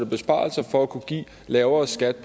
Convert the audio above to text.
besparelser for at kunne give lavere skat